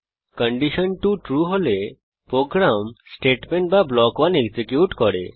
condition 2 true হলে program statement বা block 1 execute করে